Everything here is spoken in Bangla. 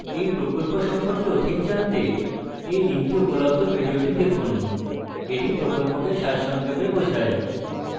এই প্রকল্প সম্পর্কে অধিক জানতে এই link উপলব্ধ video দেখুন এটি প্রকল্পকে সারসংক্ষেপে বোঝায়